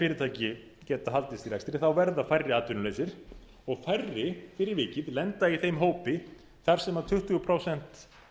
fyrirtæki geti haldast í rekstri þá verða færri atvinnulausir og færri fyrir vikið lenda í þeim hópi þar sem tuttugu prósent